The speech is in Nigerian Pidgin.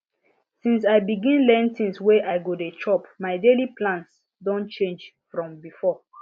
since i begin learn things wey i go dey chop my daily plans don change from before